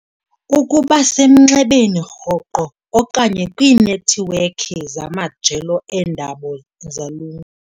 Ukuba semnxebeni rhoqo okanye kwiinethiwekhi zamajelo eendaba zalu.